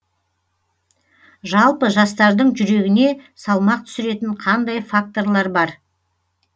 жалпы жастардың жүрегіне салмақ түсіретін қандай факторлар бар